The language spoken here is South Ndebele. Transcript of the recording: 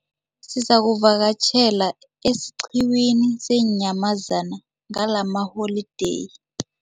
Sizakuvakatjhela esiqhiwini seenyamazana ngalamaholideyi.